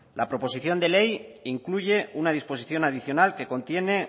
la proposición de ley incluye una disposición adicional que contiene